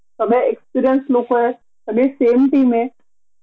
का ग. म्हणजे असे का करता एच.आर. डीपार्टमेंट